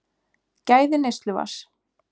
Gæði neysluvatns